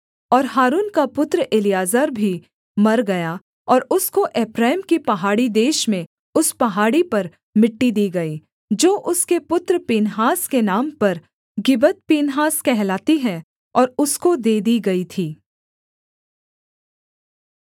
और हारून का पुत्र एलीआजर भी मर गया और उसको एप्रैम के पहाड़ी देश में उस पहाड़ी पर मिट्टी दी गई जो उसके पुत्र पीनहास के नाम पर गिबत्पीनहास कहलाती है और उसको दे दी गई थी